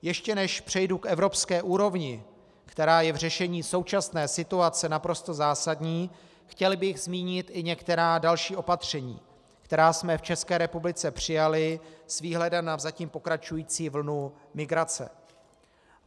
Ještě než přejdu k evropské úrovni, která je v řešení současné situace naprosto zásadní, chtěl bych zmínit i některá další opatření, která jsme v České republice přijali s výhledem na zatím pokračující vlnu migrace.